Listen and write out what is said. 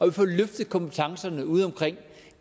vi får løftet kompetencerne ude omkring